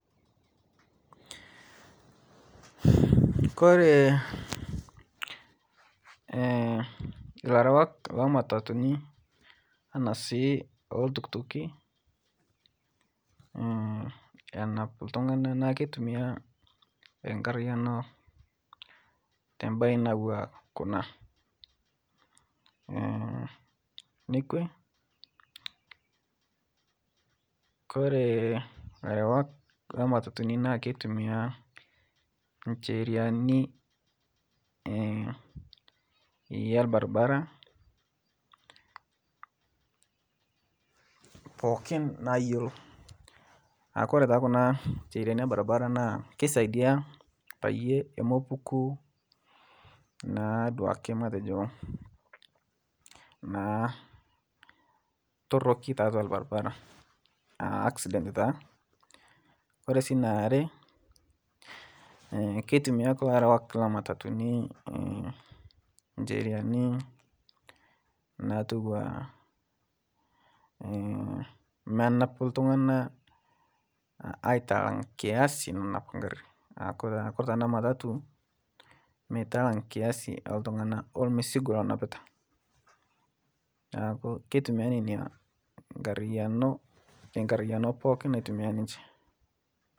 Kore larewak lolmatatuni ana si loltukituki snap ltungana naa keitumia nkariano tebae natua Kuna, nekwe Kore larewak lematatuni naa keitumia nsheriani elbarbara pookin nayelo, Kore Kuna nsheriani elbarbara na keisadia payie emopuku naaduake matejo naa toroki tatua lbarbara akisident taa, Kore naare keitumia kulo arewak lolmatatuni nsheriani natua menap ltunganak aitalang kiyasi nanap nkari naaku Kore ta namatatu meitalang kiasi eltung'anak olmisigo lanapita naaku keitumia nenia tenkariayano pooki natumia ninche.